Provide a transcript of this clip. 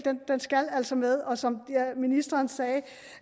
altså skal med og som ministeren sagde